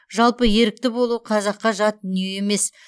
жалпы ерікті болу қазаққа жат дүние емес